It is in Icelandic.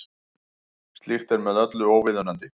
Slíkt er með öllu óviðunandi